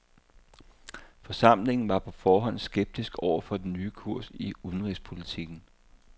Forsamlingen var på forhånd skeptisk over for den nye kurs i udenrigspolitikken.